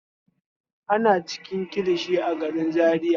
Ana cinikin kilishi a garin Zariya.